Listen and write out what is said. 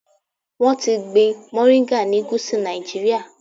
Wọ́n ti ń gbin mòríńgà ni Gúsù Nàìjíríà.